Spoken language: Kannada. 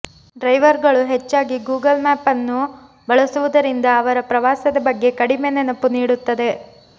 ಡ್ರೈವರ್ಗಳು ಹೆಚ್ಚಾಗಿ ಗೂಗಲ್ ಮ್ಯಾಪ್ ಅನ್ನು ಬಳಸುವುದರಿಂದ ಅವರ ಪ್ರವಾಸದ ಬಗ್ಗೆ ಕಡಿಮೆ ನೆನಪು ನೀಡುತ್ತದೆ